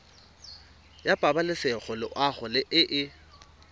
ya pabalesego loago e e